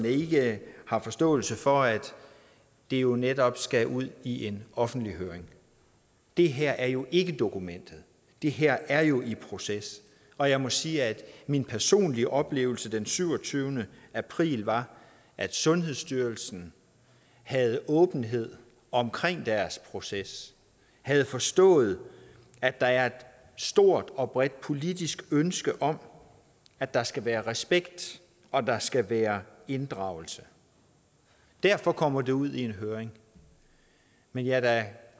ikke har forståelse for at det jo netop skal ud i en offentlig høring det her er jo ikke dokumentet det her er jo i proces og jeg må sige at min personlige oplevelse den syvogtyvende april var at sundhedsstyrelsen havde åbenhed omkring deres proces havde forstået at der er et stort og bredt politisk ønske om at der skal være respekt og der skal være inddragelse derfor kommer det ud i en høring men jeg er da